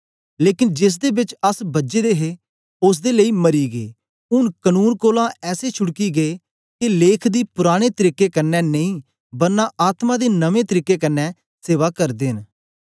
लेकन जिसदे बेच अस बझे दे हे ओसदे लेई मरी गै ऊन कनून कोलां ऐसे छुटकी गै के लेख दी पुराने तरीके क्न्ने नेई बरना आत्मा दे नमें तरीके क्न्ने सेवा करदे न